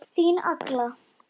Þín Agla.